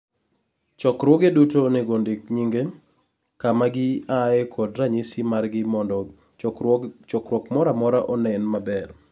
chokruoge duto onego ondik nyinge, kama gi aye kod ranyisi margi mondo chokruok mora mora onen maber